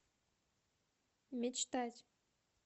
мечтать